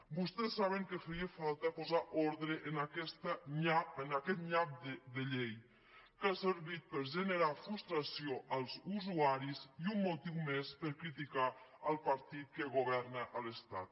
vostès saben que feia falta posar ordre en aquest nyap de llei que ha servit per generar frustració als usuaris i un motiu més per criticar el partit que governa a l’estat